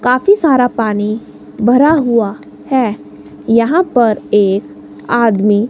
काफ़ी सारा पानी भरा हुआ है यहां पर एक आदमी--